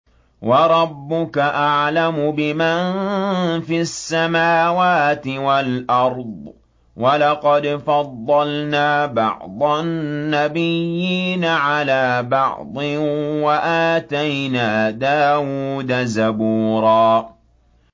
وَرَبُّكَ أَعْلَمُ بِمَن فِي السَّمَاوَاتِ وَالْأَرْضِ ۗ وَلَقَدْ فَضَّلْنَا بَعْضَ النَّبِيِّينَ عَلَىٰ بَعْضٍ ۖ وَآتَيْنَا دَاوُودَ زَبُورًا